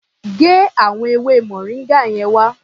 Gé àwọn ewé moringa yẹn wá.